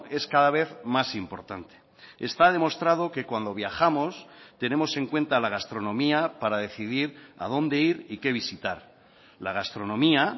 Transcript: es cada vez más importante está demostrado que cuando viajamos tenemos en cuenta la gastronomía para decidir a dónde ir y qué visitar la gastronomía